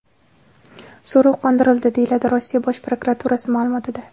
So‘rov qondirildi”, – deyiladi Rossiya Bosh prokuraturasi ma’lumotida.